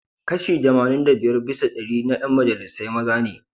Kashi Kashi tamanin da biyar bisa dari cikin dari na 'yan majalisar wakilai maza ne.